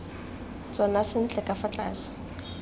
tsona sentle ka fa tlase